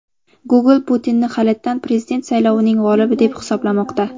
Google Putinni halitdan prezident saylovining g‘olibi deb hisoblamoqda.